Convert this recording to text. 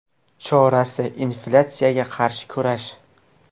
Chorasi inflyatsiyaga qarshi kurash.